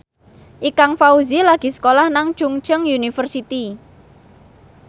Ikang Fawzi lagi sekolah nang Chungceong University